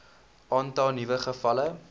aantal nuwe gevalle